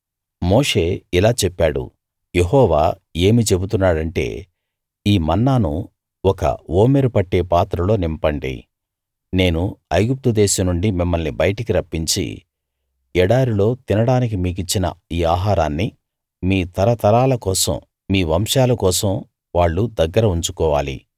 మోషే ఇలా చెప్పాడు యెహోవా ఏమి చెబుతున్నాడంటే ఈ మన్నాను ఒక ఓమెరు పట్టే పాత్రలో నింపండి నేను ఐగుప్తు దేశం నుండి మిమ్మల్ని బయటికి రప్పించి ఎడారిలో తినడానికి మీకిచ్చిన ఈ ఆహారాన్ని మీ తరతరాల కోసం మీ వంశాల కోసం వాళ్ళు దగ్గర ఉంచుకోవాలి